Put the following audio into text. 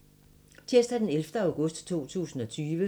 Tirsdag d. 11. august 2020